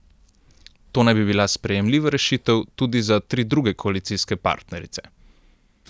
To naj bi bila sprejemljiva rešitev tudi za tri druge koalicijske partnerice.